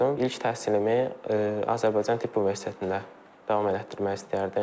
İlk təhsilimi Azərbaycan Tibb Universitetində davam elətdirmək istəyərdim.